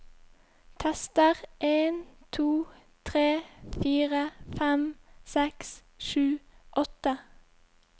Tester en to tre fire fem seks sju åtte